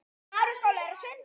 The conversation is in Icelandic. Gátu ekki einu sinni flogið.